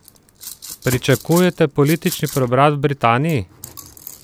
Pričakujete politični preobrat v Britaniji?